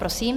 Prosím.